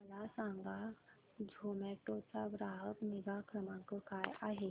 मला सांगा झोमॅटो चा ग्राहक निगा क्रमांक काय आहे